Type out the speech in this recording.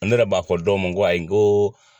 Ne yɛrɛ b'a fɔ dɔw ma nko ayi n ko.